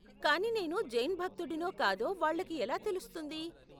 కానీ నేను జైన్ భక్తుడినో కాదో వాళ్ళకి ఎలా తెలుస్తుంది?